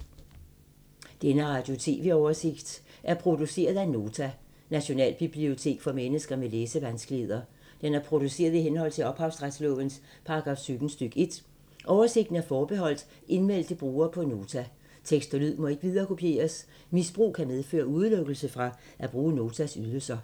Denne oversigt over radio og TV-programmer er produceret af Nota, Nationalbibliotek for mennesker med læsevanskeligheder. Den er produceret i henhold til ophavsretslovens paragraf 17 stk. 1. Oversigten er forbeholdt indmeldte brugere på Nota. Tekst og lyd må ikke viderekopieres. Misbrug kan medføre udelukkelse fra at bruge Notas ydelser.